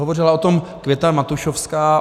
Hovořila o tom Květa Matušovská.